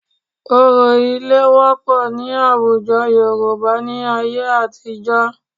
Òrò ilé wọ́pọ̀ ní àwùjọ Yorùbá ní ayé àtijọ́